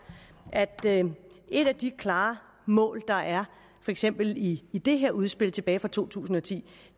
at et af de klare mål der er for eksempel i det her udspil tilbage fra to tusind og ti